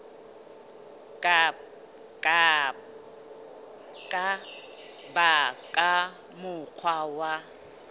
ka ba ka mokgwa wa